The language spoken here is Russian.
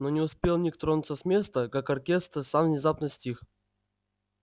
но не успел ник тронуться с места как оркестр сам внезапно стих